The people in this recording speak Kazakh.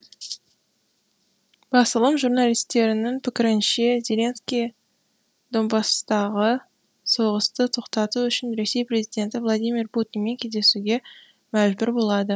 басылым журналистерінің пікірінше зеленский донбасстағы соғысты тоқтату үшін ресей президенті владимир путинмен кездесуге мәжбүр болады